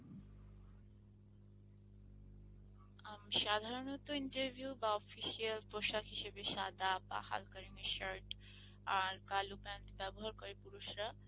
আমি সাধারণত Interview বা official পোশাক হিসেবে সাদা বা হালকা রঙের shirt আর কালো pants ব্যবহার করে পুরুষরা।